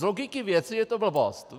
Z logiky věci je to blbost.